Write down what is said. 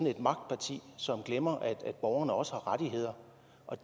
et magtparti som glemmer at borgerne også har rettigheder